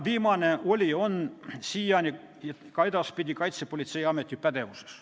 Viimane oli ja on siiani ning ka edaspidi Kaitsepolitseiameti pädevuses.